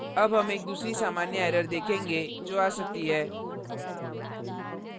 अब हम एक दूसरी सामान्य error देखेंगे जो आ सकती है